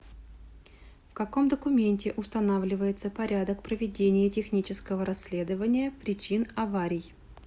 в каком документе устанавливается порядок проведения технического расследования причин аварий